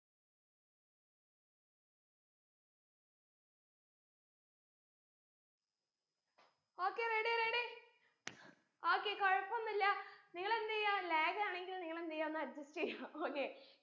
okay ready ready okay കുഴപ്പോന്നില്ല നിങ്ങളെന്തെയ്യാ lag ആണെങ്കിൽ നിങ്ങളെന്തെയ്യാ ഒന്ന് adjust യ്യാ okay